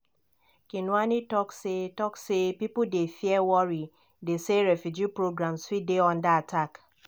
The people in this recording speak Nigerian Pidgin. kinuani tok say tok say "pipo dey fear worry dey say refugee programmes fit dey under attack."